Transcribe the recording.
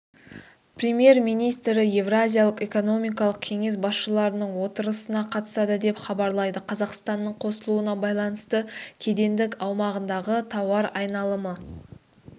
премьер-министрі еуразиялық экономикалық кеңес басшыларының отырысына қатысады деп хабарлайды қазақстанның қосылуына байланысты кедендік аумағындағы тауар айналымы